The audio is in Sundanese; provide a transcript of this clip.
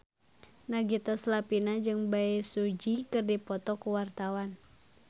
Nagita Slavina jeung Bae Su Ji keur dipoto ku wartawan